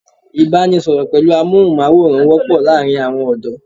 Ìbánisọ̀rọ̀ pẹ̀lú amóhùnmáwòrán wọ́pọ̀ láàárín àwọn ọ̀dọ́